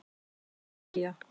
Georgía